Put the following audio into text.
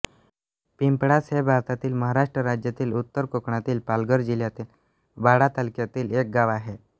पिंपळास हे भारतातील महाराष्ट्र राज्यातील उत्तर कोकणातील पालघर जिल्ह्यातील वाडा तालुक्यातील एक गाव आहे